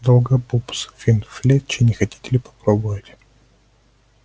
долгопупс финч флетчли не хотите ли попробовать